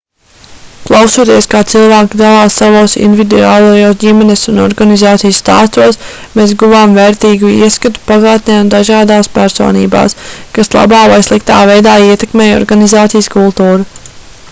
klausoties kā cilvēki dalās savos individuālajos ģimenes un organizācijas stāstos mēs guvām vērtīgu ieskatu pagātnē un dažās personībās kas labā vai sliktā veidā ietekmēja organizācijas kultūru